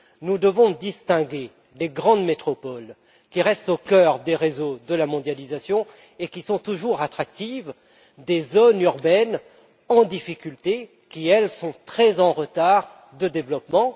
Nous devons distinguer les grandes métropoles, qui restent au cœur des réseaux de la mondialisation et sont toujours attractives, des zones urbaines en difficulté qui, elles, accusent un grand retard de développement.